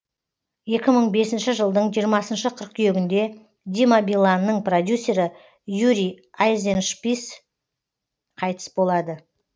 екі мың бесінші жылдың жиырмасыншы қыркүйегінде дима биланның продюсері юрий айзеншпис қайтыс болады